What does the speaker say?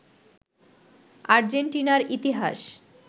আর্জেন্টিনার ইতিহাস